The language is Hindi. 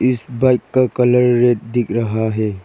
इस बाइक का कलर रेड दिख रहा है।